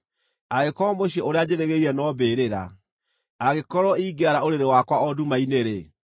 Angĩkorwo mũciĩ ũrĩa njĩrĩgĩrĩire no mbĩrĩra, angĩkorwo ingĩara ũrĩrĩ wakwa o nduma-inĩ-rĩ,